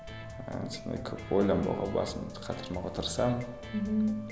ы сондай көп ойланбауға басымды қатырмауға тырысамын мхм